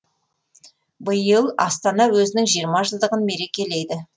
биыл астана өзінің жиырма жылдығын мерекелейді